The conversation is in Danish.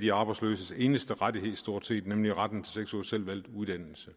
de arbejdsløses eneste rettighed stort set nemlig retten til seks ugers selvvalgt uddannelse